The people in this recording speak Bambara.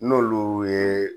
N'olu ye